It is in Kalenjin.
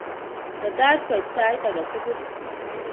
Tetat koit saait agetugul